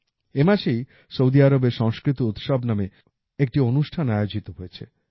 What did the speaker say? এ মাসেই সৌদি আরবে সংস্কৃত উৎসব নামে একটি অনুষ্ঠান আয়োজিত হয়েছে